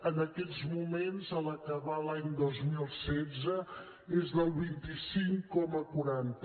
en aquests moments a l’acabar l’any dos mil setze és del vint cinc coma quaranta